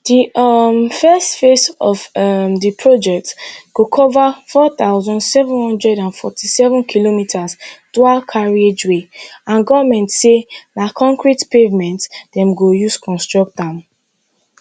di um first phase of um di project go cover four thousand, seven hundred and forty-seven kilometers dual carriageway and goment say na concrete pavement dem go use construct am